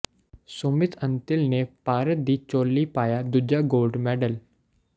ਸੁਮਿਤ ਅੰਤਿਲ ਨੇ ਭਾਰਤ ਦੀ ਝੋਲੀ ਪਾਇਆ ਦੂਜਾ ਗੋਲਡ ਮੈਡਲ